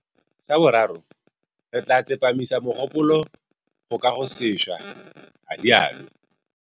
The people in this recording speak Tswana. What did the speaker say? Sa boraro, re tla tsepamisa mogopolo go kagosešwa, a rialo.